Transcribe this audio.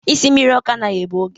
Isi mmiri ọkụ anaghị egbu oge.